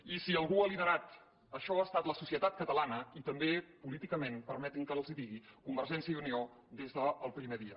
i si algú ha liderat això ha estat la societat catalana i també políticament permetin me que ara els ho digui convergència i unió des del primer dia